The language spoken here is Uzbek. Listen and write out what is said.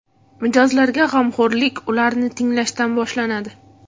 Mijozlarga g‘amxo‘rlik ularni tinglashdan boshlanadi.